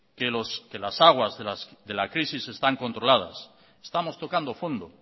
que las aguas de la crisis están controladas estamos tocando fondo